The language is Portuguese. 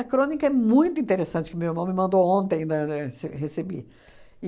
crônica é muito interessante, que meu irmão me mandou ontem, né, na ce recebi.